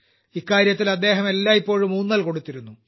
ഇക്കാര്യത്തിൽ അദ്ദേഹം എല്ലായ്പ്പോഴും ഊന്നൽകൊടുത്തിരുന്നു